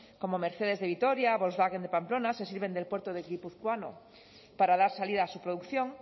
como mercedes de vitoria volkswagen de pamplona se sirven del puerto gipuzkoano para dar salida a su producción